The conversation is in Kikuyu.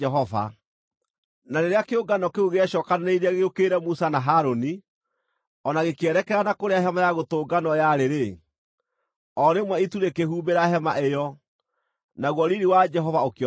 Na rĩrĩa kĩũngano kĩu gĩecookanĩrĩirie gĩũkĩrĩre Musa na Harũni, o na gĩkĩerekera na kũrĩa Hema-ya-Gũtũnganwo yarĩ-rĩ, o rĩmwe itu rĩkĩhumbĩra hema ĩyo, naguo riiri wa Jehova ũkĩonekana.